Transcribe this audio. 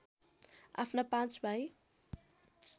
आफ्ना पाँच भाइ